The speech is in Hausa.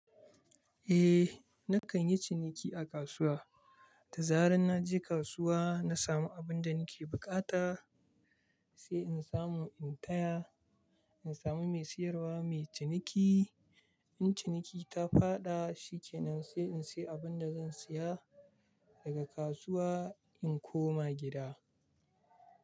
Eh, na kan yi ciniki a kasuwa. Da zarar naje kasuwa, na samu abinda nake buƙata, sai in samu in taya, in sami mai siyarwa mai ciniki. In ciniki ta faɗa, shikenan sai in sayi abinda zan saya daga kasuwa in koma gida.